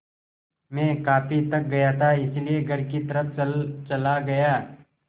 मैं काफ़ी थक गया था इसलिए घर की तरफ़ चला गया